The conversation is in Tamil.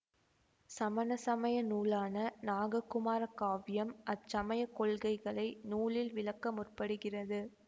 சமண சமய நூலான நாககுமார காவியம் அச்சமயக் கொள்கைகளை நூலில் விளக்க முற்படுகிறது